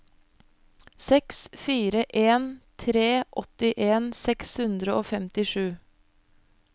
seks fire en tre åttien seks hundre og femtisju